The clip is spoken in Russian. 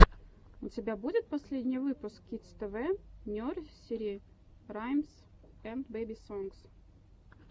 у тебя будет последний выпуск кидс тэ вэ нерсери раймс энд бэби сонгс